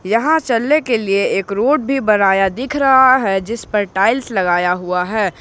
यहां चलने के लिए एक रोड भी बनाया दिख रहा है जिसपर टाइल्स लगाया हुआ है।